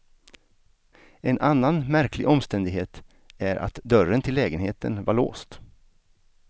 En annan märklig omständighet är att dörren till lägenheten var låst.